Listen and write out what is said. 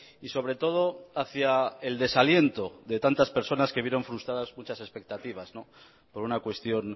y sobre todo hacia el desaliento de tantas personas que vieron frustradas muchas expectativas por una cuestión